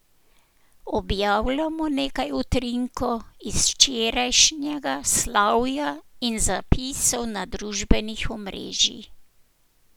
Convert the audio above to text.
Objavljamo nekaj utrinkov iz včerajšnjega slavja in zapisov na družbenih omrežij.